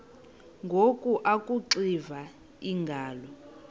ngoku akuxiva iingalo